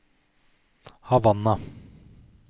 Havanna